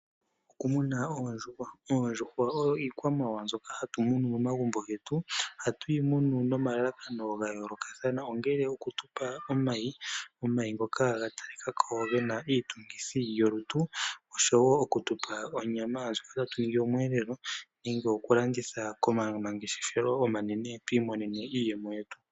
Okumuna oondjuhwa, oondjuhwa oyo iikwamawawa mbyoka hatu munu momagumbo getu. Ohatu yi munu nomalalakano gayoolokathana ongele okutupa omayi, omayi ngoka ga talika ko gena iitungithi yolutu. Oshowo okutupa onyama ndjoka tatu yi li omweelelo nenge okulanditha komangeshefelo omanene twiimonene mo iiyemo yetu.